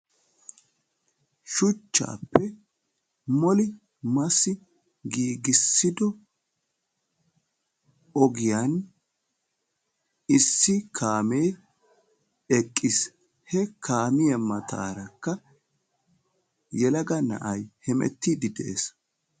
Shuchchaappe massi moli giigissido ogiyaan issi kaamee eqqiis. he kaamiyaa matarakka yelaga na'ay hemettiidi de'ees.